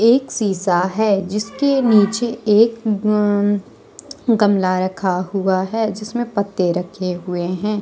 एक शीशा है जिसके नीचे एक गमला रखा हुआ है जिसमें पत्ते रखे हुए हैं।